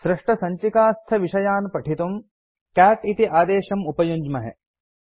सृष्टसञ्चिकास्थविषयान् पठितुं कैट् इति आदेशम् उपयुञ्ज्महे